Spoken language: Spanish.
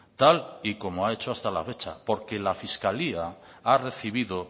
tal y como ha hecho hasta la fecha porque la fiscalía ha recibido